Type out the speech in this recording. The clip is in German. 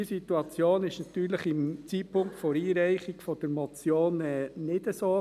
Diese Situation war natürlich im Zeitpunkt der Einreichung dieser Motion nicht so.